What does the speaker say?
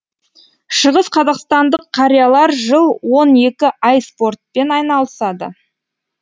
шығысқазақстандық қариялар жыл он екі ай спортпен айналысады